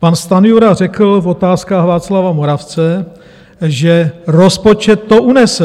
Pan Stanjura řekl v otázkách Václava Moravce, že rozpočet to unese.